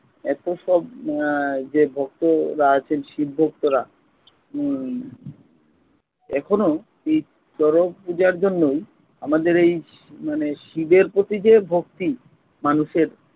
এতো সব আহ যে ভক্তরা আছেন শিব ভক্তরা উম এখনো এই শরৎ পূজার জন্যই আমাদের এই মানে শিবের প্রতি যে ভক্তি মানুষের